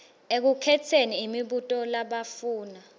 ekukhetseni imibuto labafuna